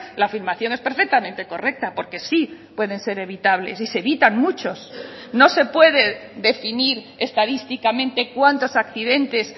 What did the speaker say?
la afirmación es perfectamente correcta porque sí pueden ser evitables y se evitan muchos no se puede definir estadísticamente cuantos accidentes